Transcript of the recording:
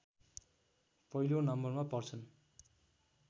पहिलो नम्बरमा पर्छन्